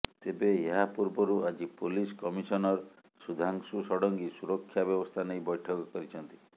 ତେବେ ଏହା ପୂର୍ବରୁ ଆଜି ପୋଲିସ୍ କମିସନର ସୁଧାଂଶୁ ଷଡଙ୍ଗୀ ସୁରକ୍ଷା ବ୍ୟବସ୍ଥା ନେଇ ବୈଠକ କରିଛନ୍ତି